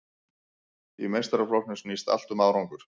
Í meistaraflokkum snýst allt um árangur.